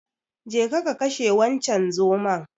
Jeka ka kashe wancen zomon.